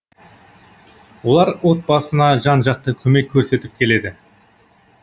олар отбасына жан жақты көмек көрсетіп келеді